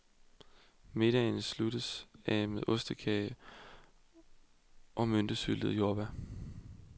Middagen sluttes af med ostekage og myntesyltede jordbær.